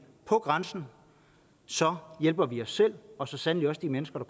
på grænsen så hjælper vi selv og så sandelig også de mennesker